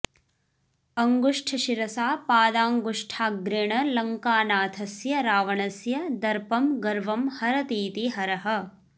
अङ्गुष्ठशिरसा पादाङ्गुष्ठाग्रेण लङ्कानाथस्य रावणस्य दर्पं गर्वं हरतीति हरः